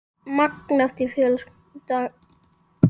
Magn eftir fjölda gesta.